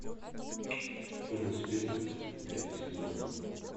черный список пятый сезон